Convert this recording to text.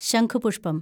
ശംഖുപുഷ്പം